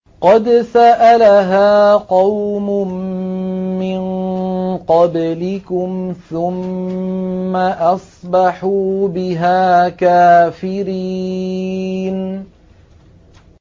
قَدْ سَأَلَهَا قَوْمٌ مِّن قَبْلِكُمْ ثُمَّ أَصْبَحُوا بِهَا كَافِرِينَ